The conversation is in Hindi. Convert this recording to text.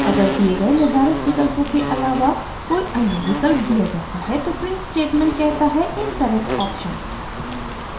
अगर दिए गए निर्धारित विकल्पों के आलावा कोई अन्य विकल्प दिया जाता है तो प्रिंट स्टेटमेंट कहता है incorrect option